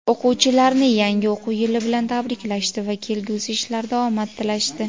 o‘quvchilarni yangi o‘quv yili bilan tabriklashdi va kelgusi ishlarida omad tilashdi.